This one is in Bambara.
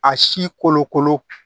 A si kolokolo